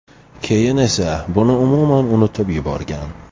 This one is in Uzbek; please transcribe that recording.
Keyin esa buni umuman unutib yuborgan.